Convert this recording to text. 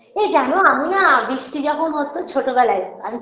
এই জানো আমি না বৃষ্টি যখন হতো ছোটবেলায় আমি